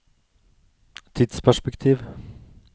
tidsperspektiv